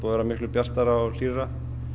vera miklu bjartara og hlýrra